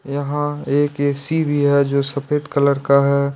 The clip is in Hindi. यह एक ऐ_सी भी है जो सफेद कलर का है।